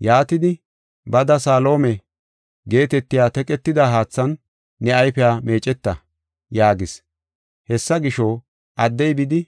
Yaatidi, “Bada Salihoome (Salihoome guussay Kiitetidaysa guussu) geetetiya teqetida haathan ne ayfiya meeceta” yaagis. Hessa gisho, addey bidi